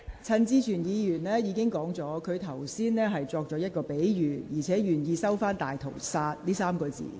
陳志全議員已表示，他剛才用的是比喻，並願意收回"大屠殺"一詞。